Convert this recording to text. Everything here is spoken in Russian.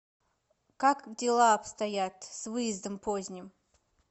как дела обстоят с выездом поздним